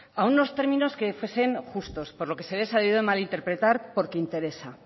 a unos términos que fuesen justos por lo que se ve se ha debido de malinterpretar porque interesa